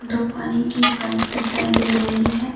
दो पानी की पाइप दिखाई दे रही है।